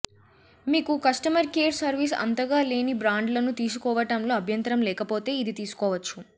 మీకు customer care service అంతగా లేని బ్రాండ్ లను తీసుకోవటంలో అభ్యంతరం లేకపోతే ఇది తీసుకోవచ్చు